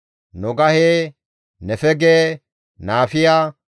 Nogahe, Nefege, Naafiya,